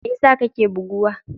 Me yasa kake buguwa?